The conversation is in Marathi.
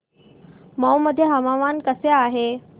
मौ मध्ये हवामान कसे आहे